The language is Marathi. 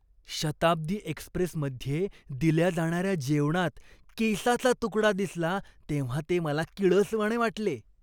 शताब्दी एक्स्प्रेसमध्ये दिल्या जाणार्या जेवणात केसाचा तुकडा दिसला तेव्हा ते मला किळसवाणे वाटले.